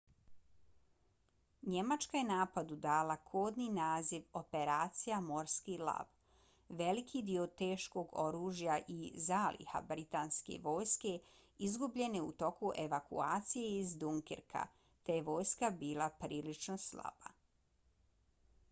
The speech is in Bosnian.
njemačka je napadu dala kodni naziv operacija morski lav . veliki dio teškog oružja i zaliha britanske vojske izgubljen je u toku evakuacije iz dunkirka te je vojska bila prilično slaba